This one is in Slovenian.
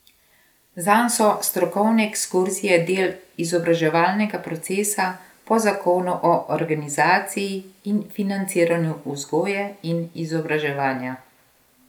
Zanj so strokovne ekskurzije del izobraževalnega procesa po zakonu o organizaciji in financiranju vzgoje in izobraževanja.